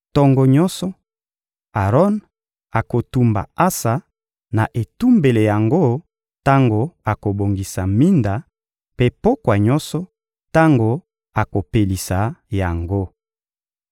Tongo nyonso, Aron akotumba ansa na etumbelo yango tango akobongisa minda; mpe pokwa nyonso, tango akopelisa yango.